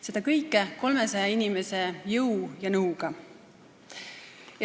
Seda kõike 300 inimese jõu ja nõuga.